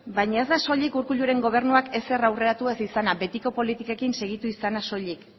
baina ez da soilik urkulluren gobernuak ezer aurreratu ez izana betiko politikekin segitu izana soilik